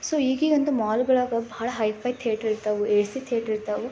so ಹೇಗೆ ಎಂದು mall ಗಳಲ್ಲಿ ಹೈಫೈ ಥಿಯೇಟರ್ ಇರ್ತವು ಎ ಸಿ ಥಿಯೇಟರ್ ಇರ್ತವು--